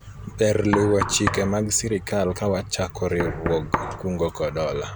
ber luwo chike mag sirikal kawachako riwruog kungo kod hola